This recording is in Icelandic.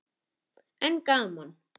En gaman!